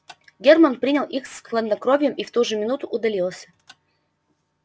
германн принял их с хладнокровием и в ту же минуту удалился